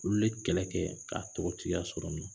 Olu ye kɛlɛ kɛ k'a tɔgɔtigiya sɔrɔ nɔ